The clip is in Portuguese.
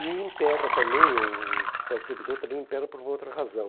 E impera também, o o hospital servidor também impera por outra razão.